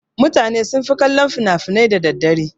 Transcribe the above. Mutane sunfi kallon fina-finai da daddare.